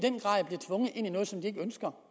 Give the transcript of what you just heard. ikke ønsker